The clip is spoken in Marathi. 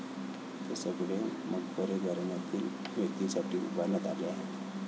ते सगळे मकबरे राजघराण्यातील व्यक्तींसाठी उभारण्यात आले आहेत.